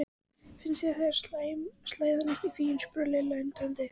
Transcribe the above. Finnst þér slæðan ekki fín? spurði Lilla undrandi.